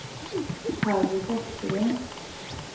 Harry Forsgren